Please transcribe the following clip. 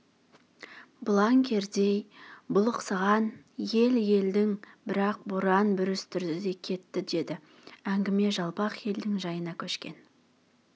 бұлаң кердей бұлықсыған ел едің бірақ боран бүрістірді де кетті деді әңгіме жалпақ елдің жайына көшкен